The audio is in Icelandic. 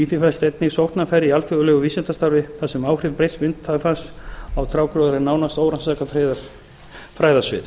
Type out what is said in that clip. því felast einnig sóknarfæri í alþjóðlegu vísindasamstarfi þar sem áhrif breytts vindafars á trjágróður er nánast órannsakað fræðasvið